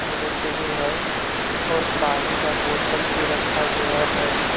मनुष्य भी है और पानी का बोतल भी रखा गया है।